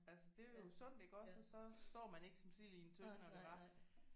Altså det er jo sundt iggås og så står man ikke som sild i en tønde når det var